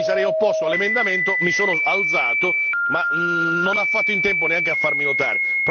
Io mi sarei opposto all'emendamento, mi sono alzato ma non ho fatto in tempo neanche a farmi notare.